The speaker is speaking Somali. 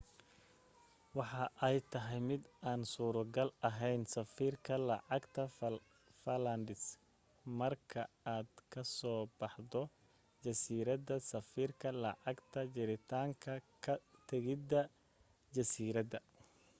waxa ay ay tahay mid aan suro gal aheyn sarifka lacagta falklands marka aad ka so baxdo jasiirada sarifka lacagta jirintaanka ka tegida jasiiradaha